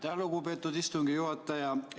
Aitäh, lugupeetud istungi juhataja!